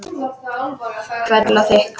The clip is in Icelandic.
Hvell og þykk.